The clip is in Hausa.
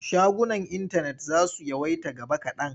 Shagunan intanet za su yawaita gaba kaɗan.